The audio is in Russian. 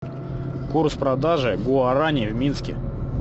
курс продажи гуарани в минске